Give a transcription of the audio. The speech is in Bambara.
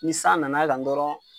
Ni san nana kan dɔrɔn